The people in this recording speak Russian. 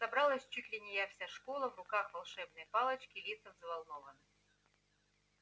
собралась чуть ли не вся школа в руках волшебные палочки лица взволнованны